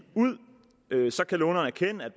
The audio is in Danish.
ud kan låneren erkende at